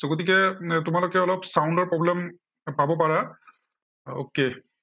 so গতিকে um তোমালোকে অলপ sound ৰ problem পাব পাৰা। okay